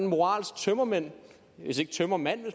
moralske tømmermænd hvor man